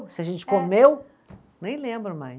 Se a gente comeu, nem lembro mais.